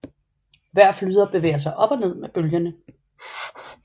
Hver flyder bevæger sig op og ned med bølgerne